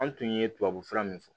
An tun ye tubabu fura min fɔ